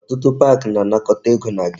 Ọtụtụ park na-anakọta ego na gate